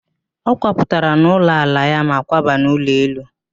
Ọ kwapụtara n'ụlọ ala ya ma kwaba n'ụlọ elu